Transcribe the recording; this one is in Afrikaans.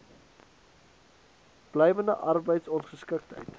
blywende arbeids ongeskiktheid